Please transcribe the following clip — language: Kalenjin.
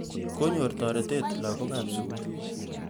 Kanyor tarete lagokab sugul